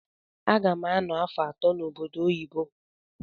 Agam ano afọ atọ na obodo oyibo.